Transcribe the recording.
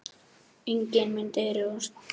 Enginn mun dirfast að spila hér án ykkar leyfis.